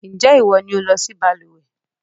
Ǹjẹ́ ìwọ ni o lọ sí balùwẹ́?